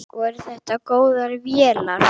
Voru þetta góðar vélar?